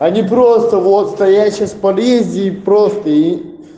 а ни просто вот стоять сейчас в подъезде и просто и